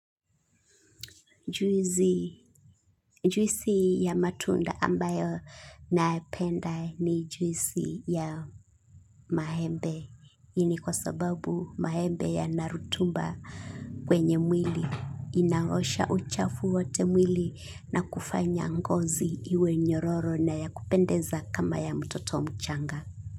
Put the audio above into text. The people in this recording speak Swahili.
Juisi ya matunda ambayo naipenda ni juisi ya maembe. Hii ni kwa sababu maembe yana rutuba kwenye mwili. Inaosha uchafu wote mwili na kufanya ngozi iwe nyororo na ya kupendeza kama ya mtoto mchanga.